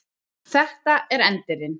Þetta er Endirinn.